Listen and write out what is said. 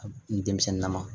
A ni denmisɛnni na